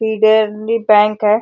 फिड्रली Bank है।